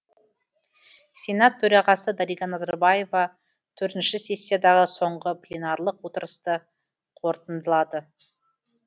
сенат төрағасы дариға назарбаева төртінші сессиядағы соңғы пленарлық отырысты қорытындылады